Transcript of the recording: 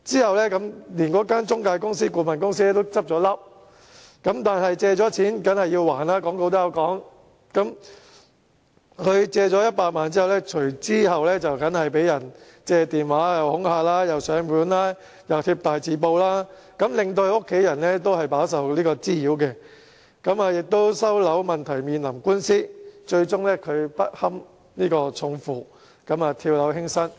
後來該中介顧問公司甚至結業，但廣告亦云"借錢梗要還"，他借了100萬元後便被人用電話恐嚇，又上門追債，又貼大字報，令他的家人也飽受滋擾，而收樓問題亦面臨官司，他最終不堪重負，跳樓輕生。